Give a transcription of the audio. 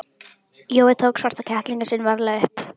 Jói tók svarta kettlinginn sinn varlega upp.